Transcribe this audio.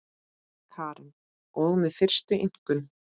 Karen: Og með fyrstu einkunn?